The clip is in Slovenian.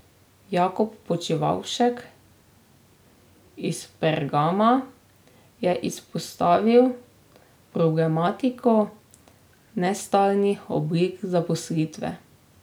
Jakob Počivavšek iz Pergama je izpostavil problematiko nestalnih oblik zaposlitve.